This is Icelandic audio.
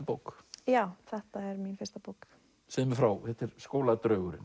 bók já þetta er mín fyrsta bók segðu mér frá þetta er